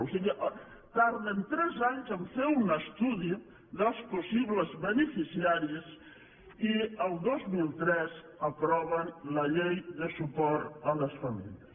o sigui tarden tres anys a fer un estudi dels possibles beneficiaris i el dos mil tres aproven la llei de suport a les famílies